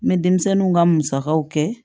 N bɛ denmisɛnninw ka musakaw kɛ